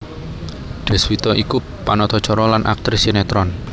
Deswita iku panata cara lan aktris sinetron